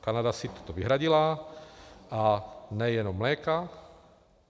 Kanada si toto vyhradila, a nejenom mléka.